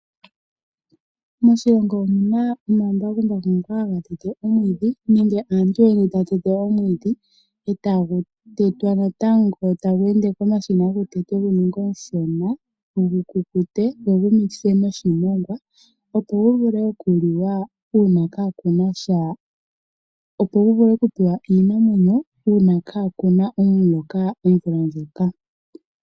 Moshilongo omuna omambakumbaku nenge aantu mboka haya tete omwiidhi. Ohagu tetwa natango komashina gu ninge omushona go gu vule okuvundakanithwa noshimongwa gu vule okupewa iinamwenyo uuna kakuna omuloka omvula ndjoka.